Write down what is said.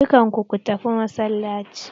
Dukan ku ku tafi masallaci!